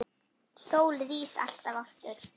Sólin rís alltaf aftur.